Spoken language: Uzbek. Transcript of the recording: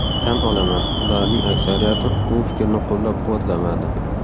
Tan olaman, ularning aksariyati bu fikrni qo‘llab-quvvatlamadi.